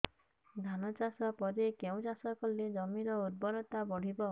ଧାନ ଚାଷ ପରେ କେଉଁ ଚାଷ କଲେ ଜମିର ଉର୍ବରତା ବଢିବ